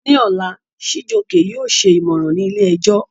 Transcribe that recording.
Ní ọ̀la, Chijioke yóò ṣe ìmọ̀ràn ní ilé-ẹjọ́